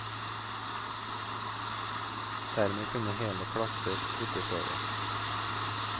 Dermed kunne hele klasser flyttes over.